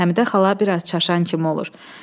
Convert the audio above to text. Həmidə xala biraz çaşan kimi olur.